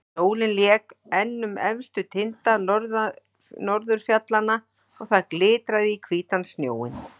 Sólin lék enn um efstu tinda norðurfjallanna og það glitraði á hvítan snjóinn.